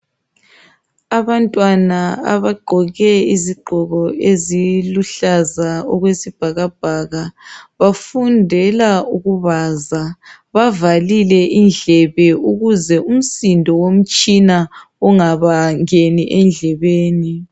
Abantwana abagqoke izigqoko eziluhlaza okwesibhakabhaka bafundela ukubaza. Bavalile indlebe ukuze umsindo womtshina ungabangeni endlebeni.